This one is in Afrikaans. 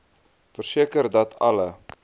verseker dat alle